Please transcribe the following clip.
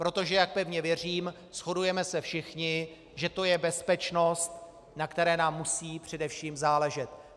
Protože jak pevně věřím, shodujeme se všichni, že to je bezpečnost, na které nám musí především záležet.